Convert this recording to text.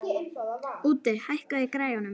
Úddi, hækkaðu í græjunum.